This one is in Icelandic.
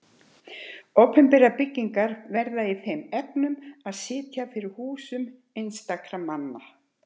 Opinberar byggingar verða í þeim efnum að sitja fyrir húsum einstakra manna.